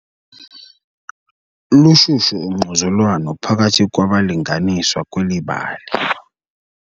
Lushushu ungquzulwano phakathi kwabalinganiswa kweli bali.